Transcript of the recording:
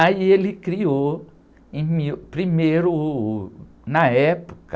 Aí ele criou, mil, primeiro, uh, na época,